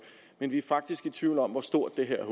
men vi er faktisk i tvivl om hvor stort det her